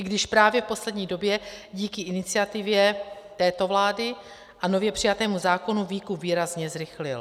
I když právě v poslední době díky iniciativě této vlády a nově přijatému zákonu výkup výrazně zrychlil.